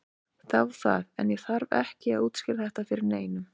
Þá það, en ég þarf ekki að útskýra þetta fyrir neinum.